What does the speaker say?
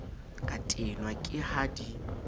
ka tenwa ke ha di